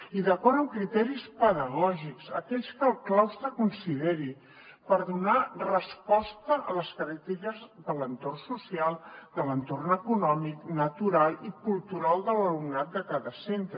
i d’acord amb criteris pedagògics aquells que el claustre consideri per donar resposta a les característiques de l’entorn social de l’entorn econòmic natural i cultural de l’alumnat de cada centre